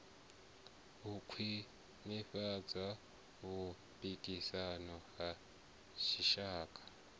u khwinifhadza vhupikisani ha dzitshaka